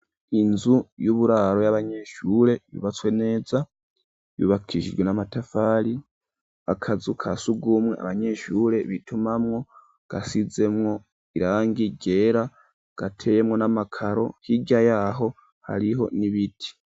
Inzu yuburaro y'abanyeshure yubatswe neza yubakishijwe n'amatafari akazu kasugumwe abanyeshure bitumamwo gasizemwo irangi ryera gateyemwo n'amakaro hirya yaho hariho n'ibiti.